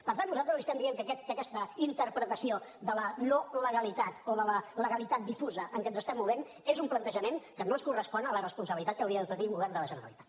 per tant nosaltres li estem dient que aquesta interpretació de la no legalitat o de la legalitat difusa en què ens estem movent és un plantejament que no es correspon amb la responsabilitat que hauria de tenir un govern de la generalitat